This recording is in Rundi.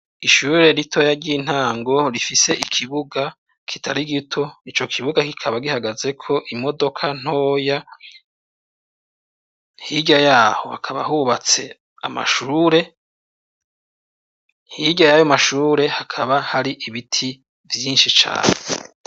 Ishure ritoya ry'intango rifise ikibuga kitari gito, ico kibuga kikaba gihagazeko imodoka ntoya, hirya yaho hakaba hubatse amashure, hirya yayo mashure hakaba hari ibiti vyinshi cane.